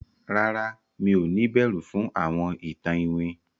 ràrá mi'o ni ìbẹrù fún àwọn ìtàn iwin?